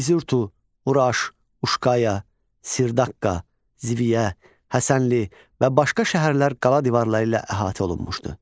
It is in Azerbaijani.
İziurto, Uraş, Uşkaya, Sirdaqqa, Ziviyə, Həsənli və başqa şəhərlər qala divarları ilə əhatə olunmuşdu.